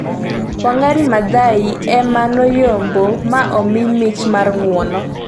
Wang' Maathai ema noyombo ma omi mich mar ng'uono